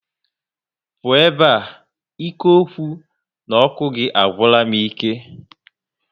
Pụọ ebe a! ike okwu na oku gị agwula m ike